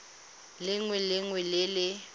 lengwe le lengwe le le